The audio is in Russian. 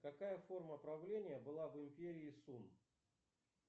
какая форма правления была в империи сум